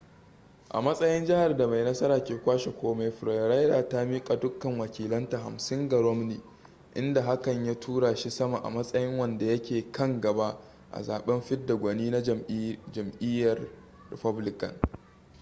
a matsayin jihar da mai nasara ke kwashe komai florida ta miƙa dukkan wakilanta hamsin ga romney inda hakan ya tura shi sama a matsayin wanda yake kan gaba a zaben fidda gwani na jam'iyyar republican